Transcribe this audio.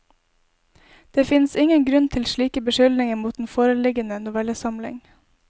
Det finnes ingen grunn til slike beskyldninger mot den foreliggende novellesamling.